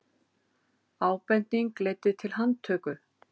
Ábending leiddi til handtöku